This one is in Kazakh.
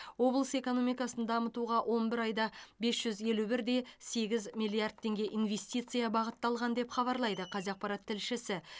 облыс экономикасын дамытуға он бір айда бес жүз елу бір де сегіз миллиард теңге инвестиция бағытталған деп хабарлайды қазақпарат тілшісі